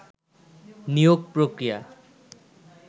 নিয়োগ প্রক্রিয়া